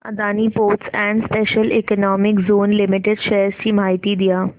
Adani ports and special economic zone limited shares ची माहिती द्या